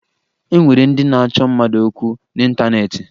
E nwere ndị na-achọ mmadụ okwu n'ịntaneetị